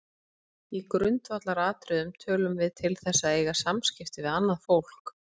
Í grundvallaratriðum tölum við til þess að eiga samskipti við annað fólk.